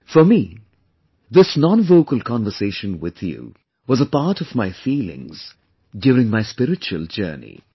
For me, this nonvocal conversation with you was a part of my feelings during my spiritual journey